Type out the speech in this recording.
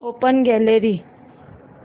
open gallery